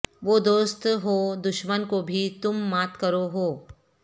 وہ دوست ہو دشمن کو بھی تم مات کرو ہو